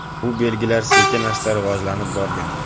Bu belgilar sekin-asta rivojlanib borgan.